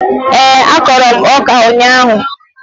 Ee, akọrọ m ọka ụnyaahụ